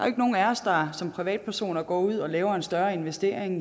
ikke nogen af os der som privatpersoner går ud og laver en større investering